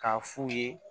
K'a f'u ye